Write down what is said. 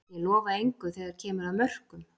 Ég lofa engu þegar að kemur að mörkum.